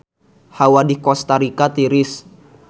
Hawa di Kosta Rika tiris